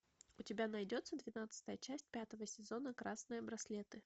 у тебя найдется двенадцатая часть пятого сезона красные браслеты